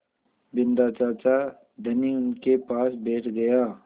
बिन्दा चाचा धनी उनके पास बैठ गया